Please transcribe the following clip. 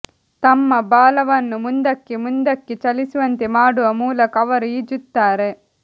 ತಮ್ಮ ಬಾಲವನ್ನು ಮುಂದಕ್ಕೆ ಮುಂದಕ್ಕೆ ಚಲಿಸುವಂತೆ ಮಾಡುವ ಮೂಲಕ ಅವರು ಈಜುತ್ತಾರೆ